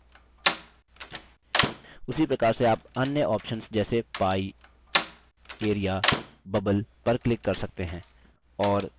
उसी प्रकार से आप अन्य options जैसे pie area bubble पर click कर सकते हैं